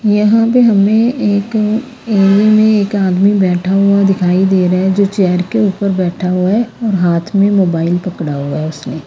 यहां पे हमें एक एरिया में एक आदमी बैठा हुआ दिखाई दे रहा है जो चेयर के ऊपर बैठा हुआ है और हाथ में मोबाइल पकड़ा हुआ ऊसने।